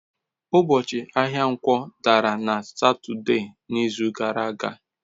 Ụbọchị ahịa Nkwo dara na Satọde n'izu gara aga.